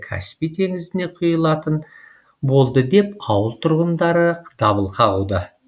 каспий теңізіне құйылатын болды деп ауыл тұрғындары дабыл қағуда